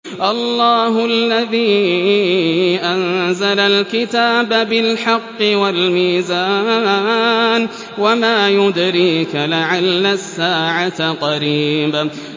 اللَّهُ الَّذِي أَنزَلَ الْكِتَابَ بِالْحَقِّ وَالْمِيزَانَ ۗ وَمَا يُدْرِيكَ لَعَلَّ السَّاعَةَ قَرِيبٌ